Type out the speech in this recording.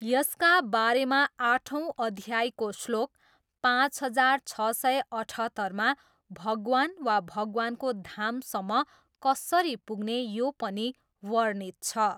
यसका बारेमा आठौँ अध्यायको श्लोक पाँच हजार छ सय अठहत्तरमा भगवान वा भगवानको धामसम्म कसरी पुग्ने यो पनि वर्णित छ।